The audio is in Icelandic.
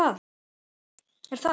er það?